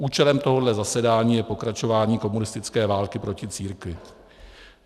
Účelem tohohle zasedání je pokračování komunistické války proti církvi.